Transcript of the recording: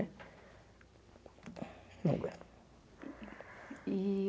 Não aguento. E